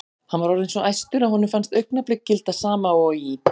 Hann var orðinn svo æstur að honum fannst augnablik gilda sama og í